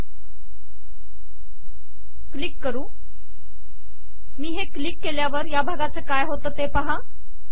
मी तसेच करते हे क्लिक करते मी हे क्लिक केल्यावर या भागाचे काय होते ते पहा